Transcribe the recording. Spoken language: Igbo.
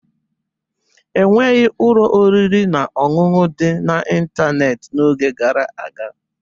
Enweghị ụlọ oriri na ọṅụṅụ dị n'ịntanetị n'oge gara aga